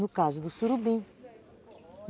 No caso do surubim.